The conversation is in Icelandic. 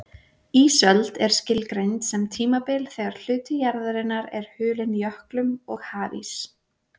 Ísöld er skilgreind sem tímabil þegar hluti jarðarinnar er hulinn jöklum og hafís.